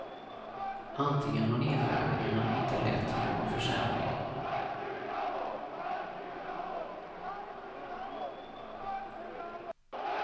Antingen har nedskärningarna inte lett till någon försämring.